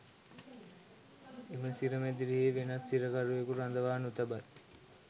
එම සිර මැදිරියෙහි වෙනත් සිරකරුවකු රඳවා නොතබයි.